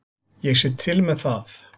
Ég sé til með það.